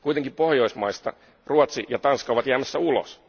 Kuitenkin Pohjoismaista Ruotsi ja Tanska ovat jäämässä ulos.